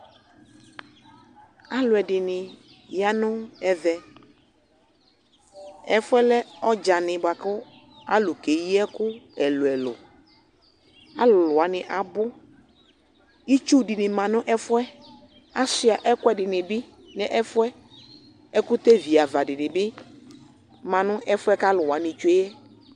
Alʋɛdɩnɩ ya nʋ ɛvɛ Ɛfʋ yɛ lɛ ɔdzanɩ bʋa kʋ alʋ keyi ɛkʋ ɛlʋ-ɛlʋ Alʋlʋ wanɩ abʋ Itsu dɩnɩ ma nʋ ɛfʋ yɛ Asʋɩa ɛkʋɛdɩnɩ bɩ nʋ ɛfʋ yɛ Ɛkʋtɛviava dɩnɩ bɩ ma nʋ ɛfʋ yɛ kʋ alʋ wanɩ tsue yɛ